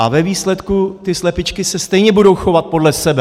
A ve výsledku ty slepičky se stejně budou chovat podle sebe.